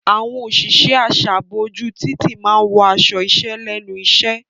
Àwọn òṣìṣẹ́ aṣààbò ojú títì máa wọ aṣọ iṣẹ́ lẹ́nu iṣẹ́.